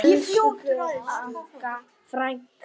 Elsku Agga frænka.